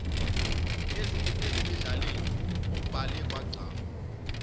ezimendleni kubhalwe kwagqama